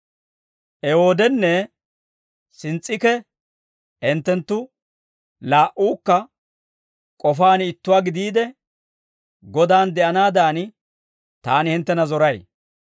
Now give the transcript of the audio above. Ewoodenne Sins's'iikee, hinttenttu laa"uukka k'ofaan ittuwaa gidiide, Godan de'anaadan, taani hinttena zoray.